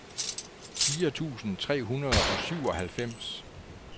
fire tusind tre hundrede og syvoghalvfems